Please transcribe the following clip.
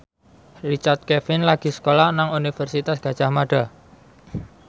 Richard Kevin lagi sekolah nang Universitas Gadjah Mada